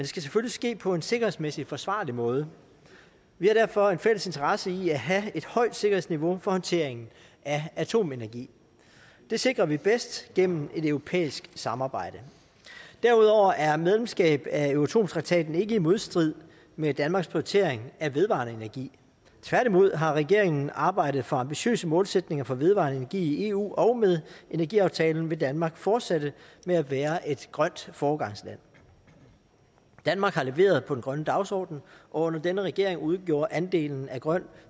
skal selvfølgelig ske på en sikkerhedsmæssigt forsvarlig måde vi har derfor en fælles interesse i at have et højt sikkerhedsniveau for håndteringen af atomenergi det sikrer vi bedst gennem et europæisk samarbejde derudover er medlemskab af euratom traktaten ikke i modstrid med danmarks prioritering af vedvarende energi tværtimod har regeringen arbejdet for ambitiøse målsætninger for vedvarende energi i eu og med energiaftalen vil danmark fortsætte med at være et grønt foregangsland danmark har leveret på den grønne dagsorden og under denne regering udgjorde andelen af grøn